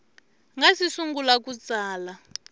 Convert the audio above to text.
nga si sungula ku tsala